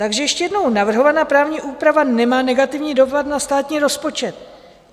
Takže ještě jednou: "Navrhovaná právní úprava nemá negativní dopad na státní rozpočet."